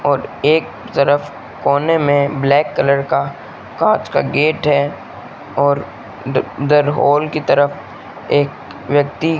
और एक तरफ कोने में ब्लैक कलर का कांच का गेट है और इधर हॉल की तरफ एक व्यक्ति --